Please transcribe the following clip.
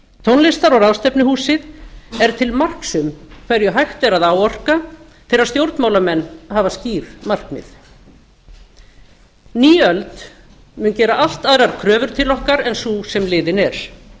tónlistar og ráðstefnuhúsið er til marks um hverju hægt er að áorka þegar stjórnmálamenn afla skýr markmið ný öld mun gera allt aðrar kröfur til okkar en sú sem liðin er hún